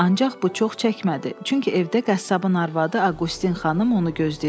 Ancaq bu çox çəkmədi, çünki evdə qəssabın arvadı Aqoustin xanım onu gözləyirdi.